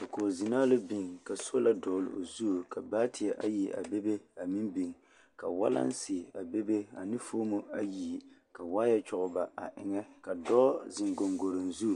Dakoɡizenaa la biŋ ka sola dɔɡele o zu ka baateɛ ayi a bebe a meŋ biŋ ka walanse a bebe a de foomo ayi ka waayɛ kyɔɡeba a eŋɛ ka dɔɔ zeŋ ɡoŋɡoroŋ zu